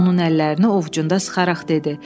Onun əllərini ovcunda sıxaraq dedi: